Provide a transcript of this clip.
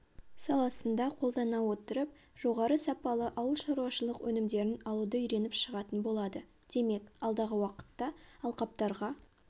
саласында қолдана отырып жоғары сапалы ауылшаруашылық өнімдерін алуды үйреніп шығатын болады демек алдағы уақытта алқаптарға